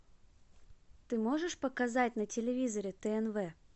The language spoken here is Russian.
ты можешь показать на телевизоре тнв